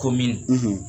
Ko min